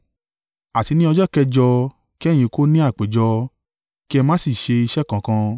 “ ‘Àti ní ọjọ́ kẹjọ kí ẹ̀yin kó ní àpéjọ, kí ẹ má sì ṣe iṣẹ́ kankan.